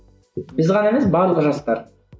біз ғана емес барлық жастар